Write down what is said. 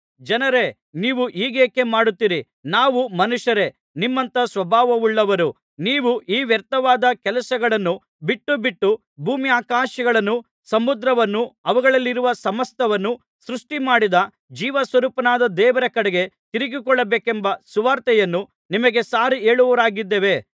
ಜನರೇ ನೀವು ಹೀಗೇಕೆ ಮಾಡುತ್ತೀರೀ ನಾವೂ ಮನುಷ್ಯರೇ ನಿಮ್ಮಂಥ ಸ್ವಭಾವವುಳ್ಳವರು ನೀವು ಈ ವ್ಯರ್ಥವಾದ ಕೆಲಸಗಳನ್ನು ಬಿಟ್ಟುಬಿಟ್ಟು ಭೂಮ್ಯಾಕಾಶಗಳನ್ನೂ ಸಮುದ್ರವನ್ನೂ ಅವುಗಳಲ್ಲಿರುವ ಸಮಸ್ತವನ್ನೂ ಸೃಷ್ಟಿಮಾಡಿದ ಜೀವಸ್ವರೂಪನಾದ ದೇವರ ಕಡೆಗೆ ತಿರುಗಿಕೊಳ್ಳಬೇಕೆಂಬ ಸುವಾರ್ತೆಯನ್ನು ನಿಮಗೆ ಸಾರಿಹೇಳುವವರಾಗಿದ್ದೇವೆ